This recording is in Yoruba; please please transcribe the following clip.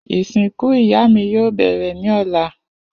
Isinku iya mi yoo bẹrẹ ni ọla.